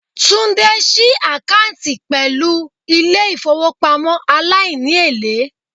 Tunde si akanti pelu ile ifowopamo alaini-ele